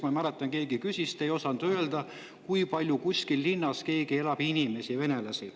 Ma mäletan, et keegi küsis, te ei osanud öelda, kui palju kuskil linnas elab venelasi.